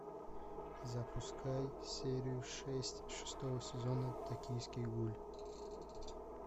запускай серию шесть шестого сезона токийский гуль